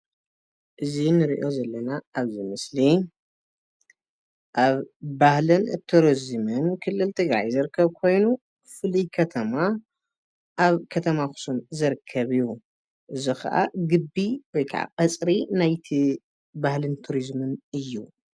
እዚ ንሪኦ ዘለና ኣብዚ ምስሊ ኣብ ባህልን ቱሪዝምን ክልል ትግራይ ዝርከብ ኮይኑ ፍሉይ ከተማ ኣብ ከተማ ኣኽሱም ዝርከብ እዩ፡፡ እዚ ኸኣ ግቢ ወይከዓ ቐፅሪ ናይቲ ባህልን ቱሪዝምን እዩ፡፡